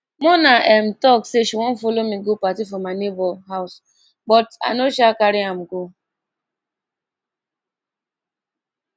muna um talk say she wan follow me go party for my neighbour house but i no um carry am go